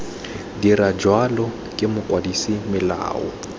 dira jalo ke mokwadise melao